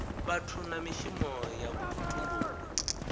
vhathu na mishumo ya vhutumbuli